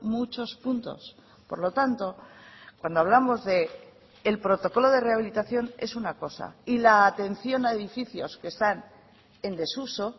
muchos puntos por lo tanto cuando hablamos del protocolo de rehabilitación es una cosa y la atención a edificios que están en desuso